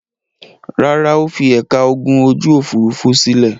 Rárá, ó fi ẹ̀ka ogun ojú-òfurufú sílẹ̀.